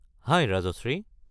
হাই Rajashree.